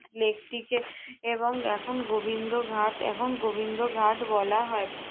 lake টিকে এবং এখন গোবিন্দ ঘাট, এখন গোবিন্দ ঘাট বলা হয়।